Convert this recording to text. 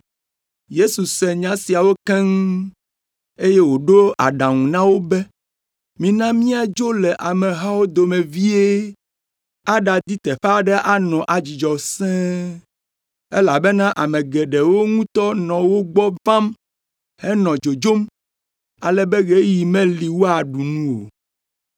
Yesu se nya siawo keŋ, eye wòɖo aɖaŋu na wo be, “Mina míadzo le amehawo dome vie aɖadi teƒe aɖe anɔ adzudzɔ sẽe.” Elabena ame geɖewo ŋutɔ nɔ wo gbɔ vam henɔ dzodzom, ale be ɣeyiɣi meli woaɖu nu o.